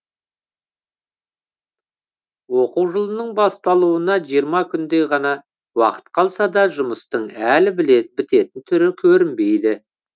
оқу жылының басталуына жиырма күндей ғана уақыт қалса да жұмыстың әлі бітетін түрі көрінбейді